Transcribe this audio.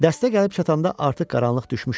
Dəstə gəlib çatanda artıq qaranlıq düşmüşdü.